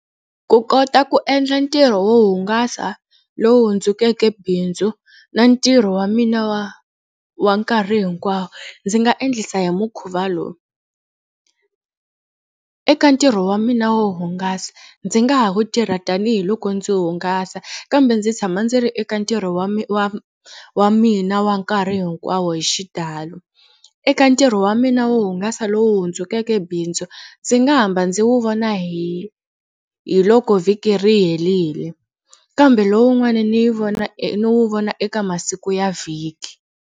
Ku kota ku endla ntirho wo hungasa lowu hundzukeke bindzu na ntirho wa mina wa wa nkarhi hinkwawo ndzi nga endlisa hi mukhuva lowu. Eka ntirho wa mina wo hungasa ndzi nga ha wu tirha tanihiloko ndzi hungasa kambe ndzi tshama ndzi ri eka ntirho wa wa wa mina wa nkarhi hinkwawo hi xitalo. Eka ntirho wa mina wo hungasa lowu hundzukeke bindzu ndzi nga hamba ndzi wu vona hi hi loko vhiki ri herile kambe lowun'wani ni yi vona e ni wu vona eka masiku ya vhiki.